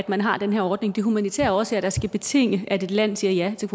man har den her ordning det er humanitære årsager der skal betinge at et land siger ja til